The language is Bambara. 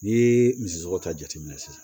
N'i ye misiw ta jate minɛ sisan